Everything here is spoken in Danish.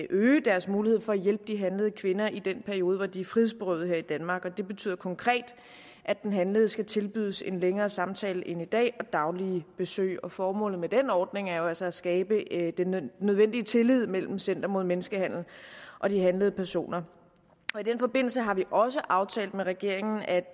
øge deres mulighed for at hjælpe de handlede kvinder i den periode hvor de er frihedsberøvede her i danmark det betyder konkret at den handlede skal tilbydes en længere samtale end i dag og daglige besøg formålet med den ordning er jo altså at skabe den nødvendige tillid mellem center mod menneskehandel og de handlede personer i den forbindelse har vi også aftalt med regeringen at